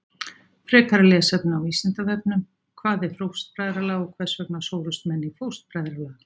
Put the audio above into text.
Frekara lesefni á Vísindavefnum: Hvað er fóstbræðralag og hvers vegna sórust menn í fóstbræðralag?